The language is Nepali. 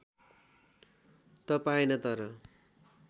त पाएन तर